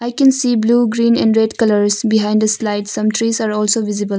I can see blue green and red colours behind slide some trees are also visible.